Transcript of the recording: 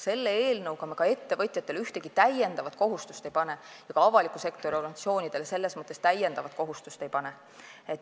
Selle eelnõuga me ettevõtjatele ühtegi lisakohustust ei pane ja ka avaliku sektori organisatsioonidele selles mõttes lisakohustust ei pane.